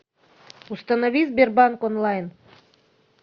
установи сбербанк онлайн